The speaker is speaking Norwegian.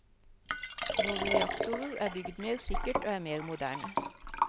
Våre reaktorer er bygd mer sikkert og er mer moderne.